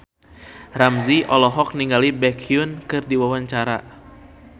Ramzy olohok ningali Baekhyun keur diwawancara